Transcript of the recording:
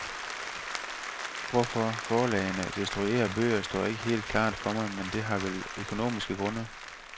Hvorfor forlagene destruerer bøger, står ikke helt klart for mig, men det har vel økonomiske grunde.